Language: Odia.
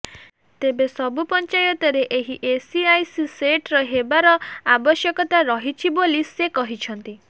ତେବେ ସବୁ ପଞ୍ଚାୟତରେ ଏହି ଏସିଆଇସି ସେଂଟର ହେବାର ଆବଶ୍ୟକତା ରହିଛି ବୋଲି ସେ କହିଛନ୍ତି